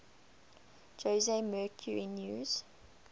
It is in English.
jose mercury news